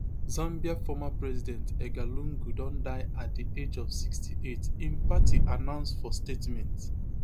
zambia former president edgar lungu don die at di age of sixty-eight im party announce for statement